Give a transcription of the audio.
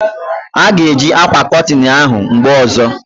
A ga e ji akwa kotin ahụ mgbe ozo